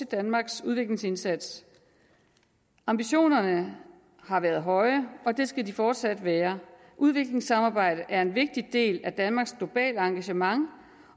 danmarks udviklingsindsats ambitionerne har været høje og det skal de fortsat være udviklingssamarbejdet er en vigtig del af danmarks globale engagement